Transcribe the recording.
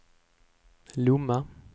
Lomma